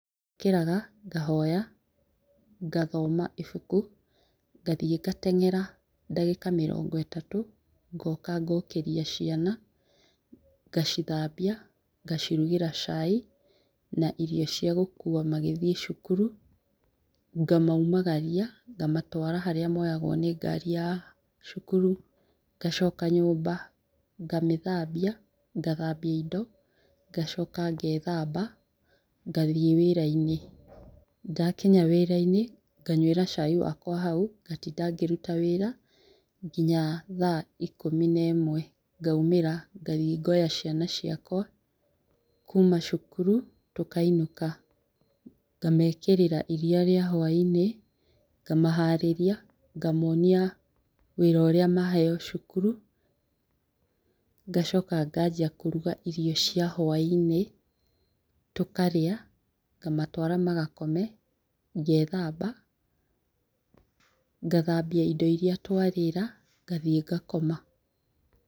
Njũkĩraga, ngahoya, ngathomo ibuku, ngathiĩ ngateng'era ndagĩka mĩrongo ĩtatũ, ngoka ngokĩria ciana, ngacithambia, ngacirugĩra cai na irio cia gũkua magĩthiĩ cukuru. Ngamaumagaria, ngamatwara harĩa maigagwo nĩngari ya cukuru, ngacoka nyũmba, ngamĩthambia , ngathambia indo ngacoka ngethamba, ngathiĩ wĩra-inĩ. Ndakinya wĩra-inĩ, nganyuĩra cai wakwa hau, ngatinda ngĩruta wĩra nginya thaa ikũmi na ĩmwe. Ngaumĩra, ngathiĩ ngoya ciana ciakwa kuma cukuru tũkainũka . Ngamekĩrĩra iriia rĩa hwaĩ-inĩ, ngamaharĩria, ngamonia wĩra ũrĩa maheo cukuru, ngacoka nganjia kũruga irio cia hũainĩ, tũkarĩa, ngamatwara magakome , ngethamba ,ngathambia indo iria twarĩra. Ngathiĩ ngakoma.